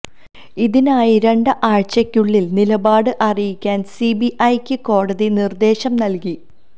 ഇതിനായി രണ്ട് ആഴ്ചയ്ക്കുള്ളില് നിലപാട് അറിയിക്കാന് സിബിഐയ്ക്ക് കോടതി നിര്ദേശം നല്കി